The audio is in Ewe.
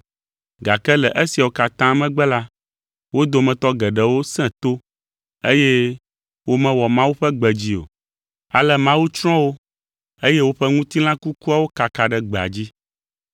Gake le esiawo katã megbe la, wo dometɔ geɖewo sẽ to eye womewɔ Mawu ƒe gbe dzi o. Ale Mawu tsrɔ̃ wo eye woƒe ŋutilã kukuawo kaka ɖe gbea dzi.